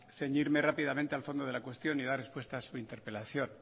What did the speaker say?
ceñirme rápidamente al fondo de la cuestión y dar respuesta a su interpelación